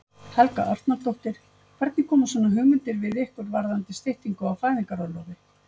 Helga Arnardóttir: Hvernig koma svona hugmyndir við ykkur varðandi styttingu á fæðingarorlofi?